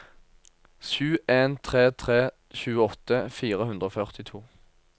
sju en tre tre tjueåtte fire hundre og førtito